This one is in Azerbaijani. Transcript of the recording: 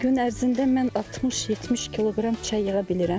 Gün ərzində mən 60-70 kq çay yığa bilirəm.